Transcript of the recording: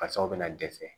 Fasaw bɛna dɛsɛ